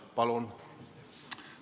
Palun!